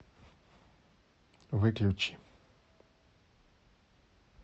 выключи